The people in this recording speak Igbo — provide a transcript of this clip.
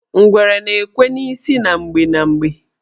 Ngwere na-ekwe n' isi na mgbe na mgbe.